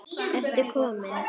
Ertu kominn!